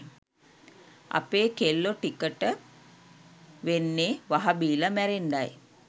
අපේ කෙල්ලො ටිකට වෙන්නේ වහ බීල මැරෙන්ඩයි.